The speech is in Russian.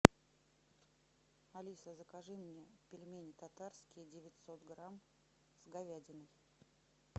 алиса закажи мне пельмени татарские девятьсот грамм с говядиной